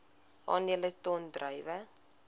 aandele ton druiwe